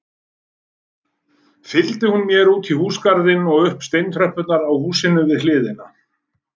Fylgdi hún mér útí húsagarðinn og upp steintröppurnar á húsinu við hliðina.